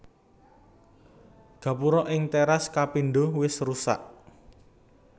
Gapura ing téras kapindho wis rusak